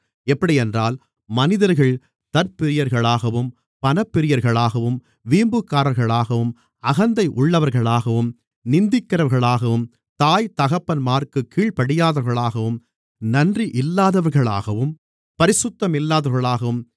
எப்படியென்றால் மனிதர்கள் தற்பிரியர்களாகவும் பணப்பிரியர்களாகவும் வீம்புக்காரர்களாகவும் அகந்தை உள்ளவர்களாகவும் நிந்திக்கிறவர்களாகவும் தாய் தகப்பன்மாருக்குக் கீழ்ப்படியாதவர்களாகவும் நன்றி இல்லாதவர்களாகவும் பரிசுத்தமில்லாதவர்களாகவும்